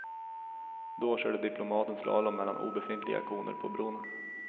Då körde diplomaten slalom mellan obefintliga koner på bron.